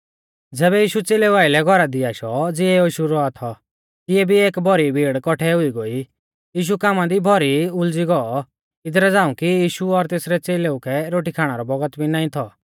ज़ैबै यीशु च़ेलेऊ आइलै घौरा दी आशौ ज़िऐ यीशु रौआ थौ तिऐ भी एक भौरी भीड़ कौठी हुई गोई यीशु कामा दी भौरी उलज़ी गौऔ इदरा झ़ांऊ कि यीशु और तेसरै च़ेलेऊ कै रोटी खाणा रौ बौगत भी नाईं थौ